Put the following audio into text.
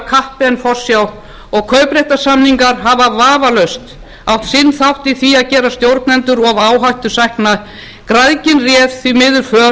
kappi en forsjá og kaupréttarsamningar hafa vafalaust átt sinn þátt í því að gera stjórnendur of áhættusækna græðgin réð því miður för og